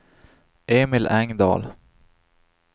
Emil Engdahl